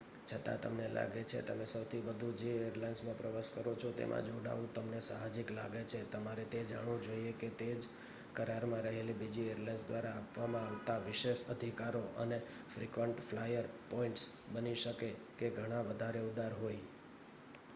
છતાં તમને લાગે છે તમે સૌથી વધુ જે એરલાઇન્સ માં પ્રવાસ કરો છો તેમાં જોડાવું તમને સાહજિક લાગે છે તમારે તે જાણવું જોઈએ કે તે જ કરાર માં રહેલ બીજી એરલાઇન્સ દ્વારા આપવામાં આવતા વિશેષ અધિકારો અને ફ્રિકવંટ ફ્લાયર પોઇન્ટ્સ બની શકે કે ઘણા વધારે ઉદાર હોય